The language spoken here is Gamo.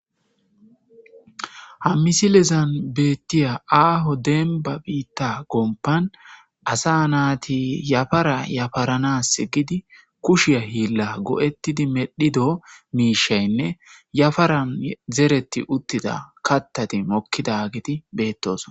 Ha misilezan betiya aaho demba bita gompan asa nati yafara yafarans gidi kushiyan gila go'etidi medhido mishaynne yafaran zereti utida kathati mokidageti betosona